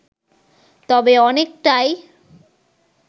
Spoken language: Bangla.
তবে অনেকটাই